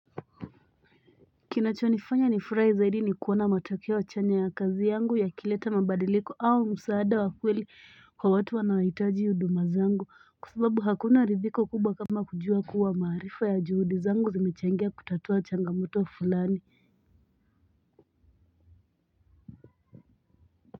Kinachonifanya ni furahi zaidi ni kuona matokeo chanya ya kazi yangu yakileta mabadiliko au msaada wa kweli kwa watu wanao hitaji huduma zangu kwa sababu hakuna ridhiko kubwa kama kujua kuwa maarifa ya juhudi zangu zimechangia kutatua changamoto fulani.